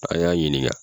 An y'a ɲininka